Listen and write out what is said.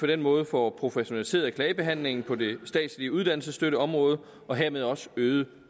den måde får professionaliseret klagebehandlingen på det statslige uddannelsesstøtteområde og hermed også øget